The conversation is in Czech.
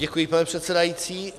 Děkuji, pane předsedající.